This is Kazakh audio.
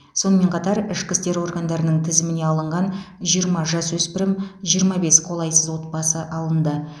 сонымен қатар ішкі істер органдарының тізіміне алынған жиырма жасөспірім жиырма бес қолайсыз отбасы алынды